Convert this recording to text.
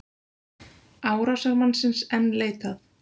Árásarmannsins enn leitað